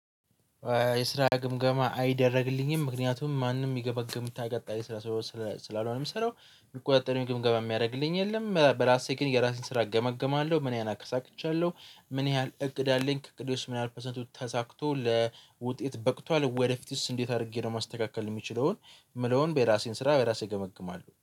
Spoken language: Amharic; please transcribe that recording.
የስራ ግምገማ አይደረግልኝም ምክንያቱም ማንም የሚገመግመኝ ስራ ስላልሆነ የምሰራው የሚቆጠረው ግምገባ የሚያደርግልኝ የለም በራሴ ግን የራሴን ስራ እገመግማለሁ ምን ያህል አሳክቻለሁ። ምን ያህል እቅድ አለኝ ከእቅዶች ምን ያህል ፐርሰንት ተሳክቶ ለውጤት በቅቷል ወደፊትስ እንዴት አድርጌ ነው ማስተካከል የምችለዉን። ምለውን የራሴን ስራ በራሴ እገመግማለሁ